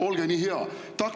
Olge nii hea!